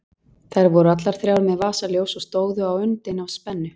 Þær voru allar þrjár með vasaljós og stóðu á öndinni af spennu.